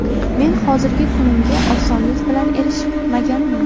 Men hozirgi kunimga osonlik bilan erishmaganman.